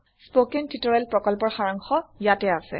spoken tutorial প্ৰকল্পৰ সাৰাংশ ইয়াতে আছে